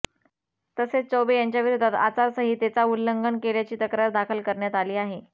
तसेच चौबे यांच्याविरोधात आचारसंहितेचा उल्लंघन केल्याची तक्रार दाखल करण्यात आली आहे